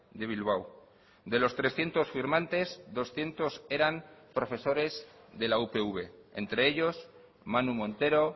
de bilbao de los trescientos firmantes doscientos eran profesores de la upv entre ellos manu montero